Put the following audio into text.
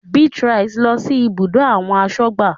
Beatrice lọ sí ibùdó àwọn asọ́gbà